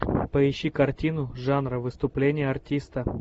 поищи картину жанра выступление артиста